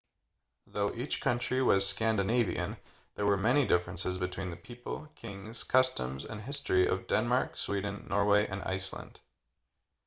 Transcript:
though each country was scandinavian' there were many differences between the people kings customs and history of denmark sweden norway and iceland